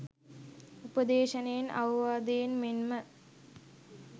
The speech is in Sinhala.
උපදේශනයෙන් අවවාදයෙන් මෙන්ම